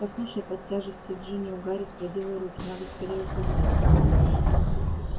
послушай под тяжестью джинни у гарри сводило руки надо скорее уходить отсюда